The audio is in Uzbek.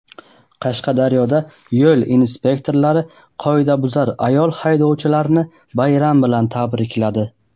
Qashqadaryoda yo‘l inspektorlari "qoidabuzar" ayol haydovchilarni bayram bilan tabrikladi.